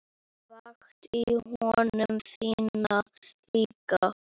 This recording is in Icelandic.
Vakti ég konu þína líka?